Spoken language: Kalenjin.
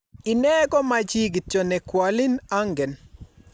Inee ko ma chii kityo ne kwalin angen